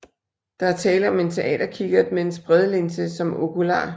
Der er tale om en teaterkikkert med en spredelinse som okular